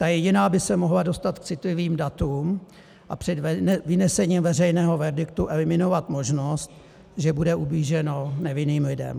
Ta jediná by se mohla dostat k citlivým datům a před vynesením veřejného verdiktu eliminovat možnost, že bude ublíženo nevinným lidem.